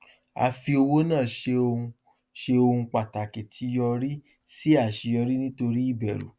a fi owó náa ṣe ohun ṣe ohun pàtàkì tí yọrí sí aṣeyọrí nítorí ìbẹrù